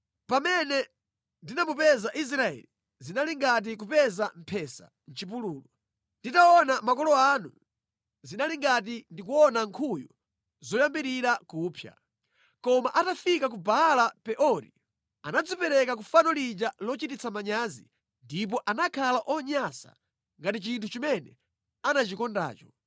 “Pamene ndinamupeza Israeli zinali ngati kupeza mphesa mʼchipululu. Nditaona makolo anu, zinali ngati ndikuona nkhuyu zoyambirira kupsa. Koma atafika ku Baala Peori, anadzipereka ku fano lija lochititsa manyazi ndipo anakhala onyansa ngati chinthu chimene anachikondacho.